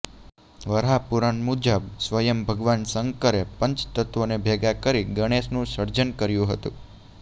વરાહપુરાણ મુજબ સ્વયં ભગવાન શંકરે પંચ તત્ત્વોને ભેગાં કરી ગણેશનું સર્જન કર્યું હતું